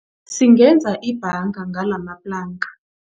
Singenza ibhanga ngalamaplanka.